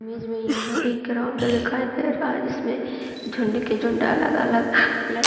image में यहाँ एक ग्राउंड दिखाई दे रहा है जिसमे झुण्ड के झुण्ड अलग-अलग लड़ --